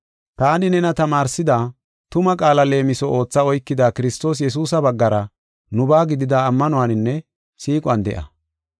Taani nena tamaarsida tuma qaala leemiso ootha oykada Kiristoos Yesuusa baggara nubaa gidida ammanuwaninne siiquwan de7a.